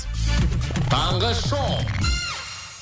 таңғы шоу